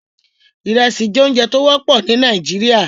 Ìrẹsì jẹ́ oúnjẹ tí ó wọ́pọ̀ ní Nàìjíríà